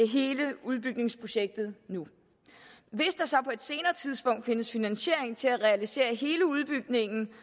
hele udbygningsprojektet nu hvis der så på et senere tidspunkt findes finansiering til at realisere hele udbygningen